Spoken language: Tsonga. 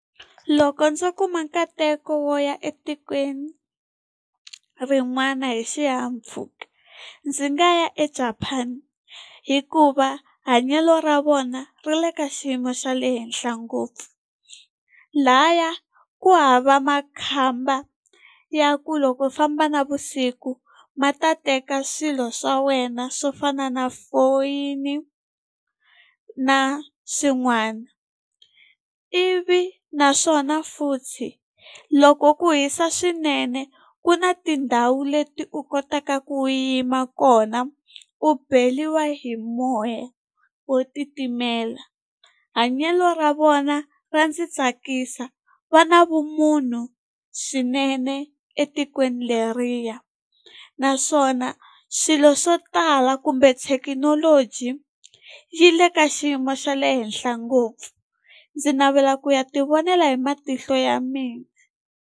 Loko ndzo kuma nkateko wo ya etikweni rin'wana hi xihahampfhuka, ndzi nga ya eJapan hikuva hanyelo ra vona ri le ka xiyimo xa le henhla ngopfu. Lahaya ku hava makhamba ya ku loko u famba navusiku ma ta teka swilo swa wena swo fana na foyini, na swin'wana. Ivi naswona futhi loko ku hisa swinene, ku na tindhawu leti u kotaka ku yima kona u beriwa hi moya wo titimela. Hanyelo ra vona ra ndzi tsakisa, va na vumunhu swinene etikweni leriya. Naswona swilo swo tala kumbe thekinoloji yi le ka xiyimo xa le henhla ngopfu, ndzi navela ku ya ti vonela hi matihlo ya mina.